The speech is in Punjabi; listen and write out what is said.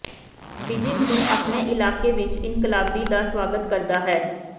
ਬੀਜਿੰਗ ਨੂੰ ਆਪਣੇ ਇਲਾਕੇ ਵਿਚ ਇਨਕਲਾਬੀ ਦਾ ਸਵਾਗਤ ਕਰਦਾ ਹੈ